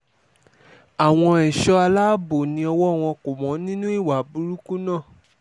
àwọn ẹ̀ṣọ́ aláàbò ni ọwọ́ wọn kò mọ́ nínú ìwà burúkú náà